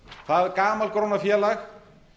það gamalgróna félag